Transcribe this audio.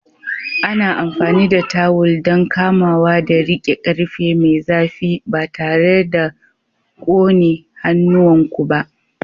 Ana amfani da tawul don kamawa da riƙe ƙarfe mai zafi ba tare da ƙone hannuwanku ba.